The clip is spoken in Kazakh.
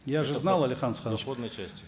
я же знал алихан асханович